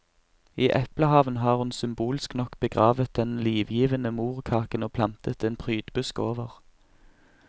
I eplehaven har hun symbolsk nok begravet den livgivende morkaken og plantet en prydbusk over.